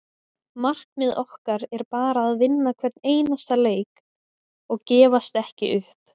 Markmið okkar er bara að vinna hvern einasta leik og gefast ekki upp.